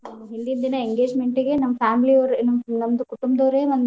ಹಿಂದಿನ ದಿನ engagement ಗೆ ನಮ್ಮ್ family ಅವ್ರೆ ನಮ್ಮ್ ಕುಟುಂಬದವ್ರೆ.